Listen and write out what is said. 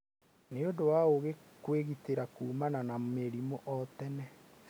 Nĩ ũndũ wa ũũgĩ kwĩgitĩra kuumana na mĩrimũ kũrĩ o tene